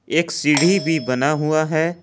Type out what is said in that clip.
एक सीढ़ी भी बना हुआ है।